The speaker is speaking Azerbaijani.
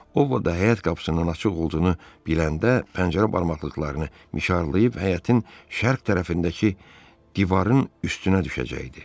O həyət qapısının açıq olduğunu biləndə pəncərə barmaqlıqlarını mişarlayıb həyətin şərq tərəfindəki divarın üstünə düşəcəkdi.